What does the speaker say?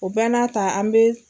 O bɛ n'a ta an bɛ.